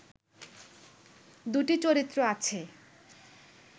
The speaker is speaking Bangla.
দুটি চরিত্র আছে